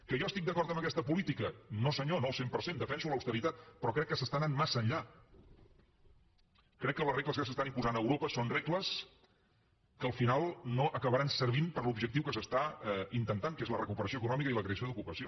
que jo estic d’acord amb aquesta política no senyor no al cent per cent defenso l’austeritat però crec que s’està anant massa enllà crec que les regles que s’estan imposant a europa són regles que al final no acabaran servint per a l’objectiu que s’està intentant que és la recuperació econòmica i la creació d’ocupació